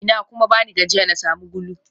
Ina kuma bani gajiya na sami gulu?